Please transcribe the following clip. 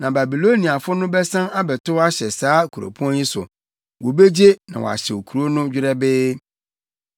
Na Babiloniafo no bɛsan abɛtow ahyɛ saa kuropɔn yi so; wobegye na wɔahyew kurow no dwerɛbee.’